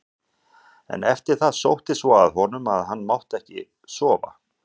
En eftir það sótti svo að honum að hann mátti ekki sofa.